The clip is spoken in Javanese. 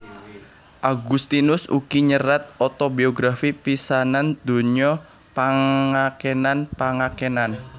Augustinus ugi nyerat otobiografi pisanan donya Pangakenan pangakenan